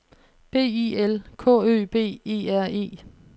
B I L K Ø B E R E